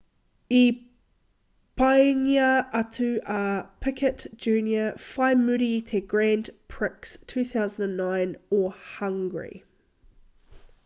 i peingia atu a piquet jr whai muri i te grand prix 2009 o hungry